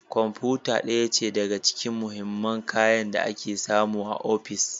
Kwamfuta ɗaya ce daga cikin mahimman kayan da ake samu a ofis